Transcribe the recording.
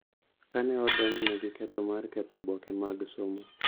ka ne odonjne gi ketho mar ketho oboke mag somo